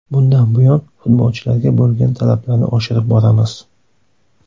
Bundan buyon futbolchilarga bo‘lgan talablarni oshirib boramiz.